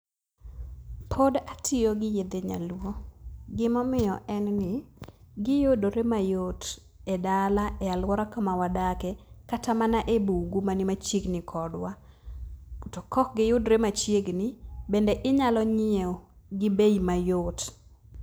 Pod atiyo gi yedhe nyaluo. Gimomiyo en ni, giyudore mayot e dala, e alwora kamawadake, kata mana e bungu mani machiegni kodwa. To kok giyudre machiegni, bende inyalo nyieo gi bei mayot.